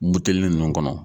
Butelinin ninnu kɔnɔ.